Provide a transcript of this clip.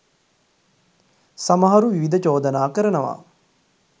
සමහරු විවිධ චෝදනා කරනවා.